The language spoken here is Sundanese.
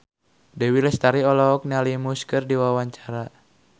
Dewi Lestari olohok ningali Muse keur diwawancara